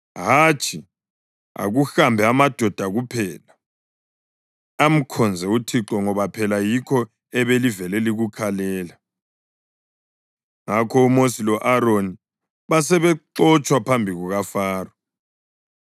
Hatshi! Akuhambe amadoda kuphela; amkhonze uThixo ngoba phela yikho ebelivele likukhalela.” Ngakho uMosi lo-Aroni basebexotshwa phambi kukaFaro.